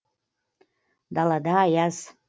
далада аяз